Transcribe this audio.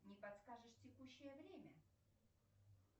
не подскажешь текущее время